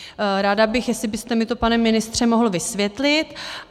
Ráda bych, jestli byste mi to, pane ministře, mohl vysvětlit.